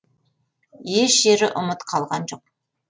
еш жері ұмыт қалған жоқ